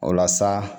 O la sa